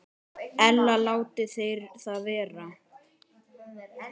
Ella láti þeir það vera.